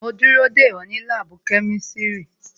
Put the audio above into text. Mo ń dúró dè ọ́ ní láàbù kẹ́mísírì